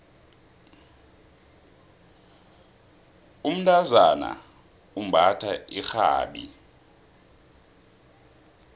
umntazana umbatha irhabi